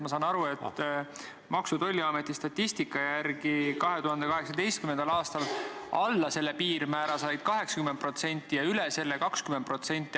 Ma saan aru, et Maksu- ja Tolliameti statistika järgi 2018. aastal sai alla selle piirmäära 80% ja üle selle 20%.